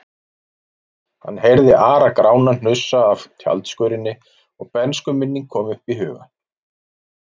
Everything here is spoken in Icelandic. Hann heyrði Ara-Grána hnusa af tjaldskörinni og bernskuminning kom upp í hugann.